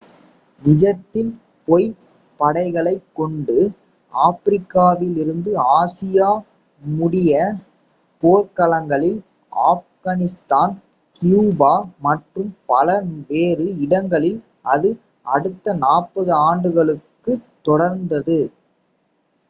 நிஜத்தில் பொய்ப் படைகளைக் கொண்டு ஆப்பிரிக்காவிலிருந்து ஆசியா முடிய போர்க்களங்களில் ஆப்கனிஸ்தான் கியூபா மற்றும் பல வேறு இடங்களில் அது அடுத்த 40 ஆண்டுகளுக்குத் தொடர்ந்தது